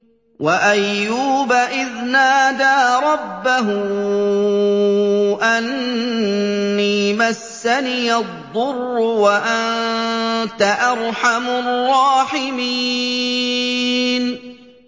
۞ وَأَيُّوبَ إِذْ نَادَىٰ رَبَّهُ أَنِّي مَسَّنِيَ الضُّرُّ وَأَنتَ أَرْحَمُ الرَّاحِمِينَ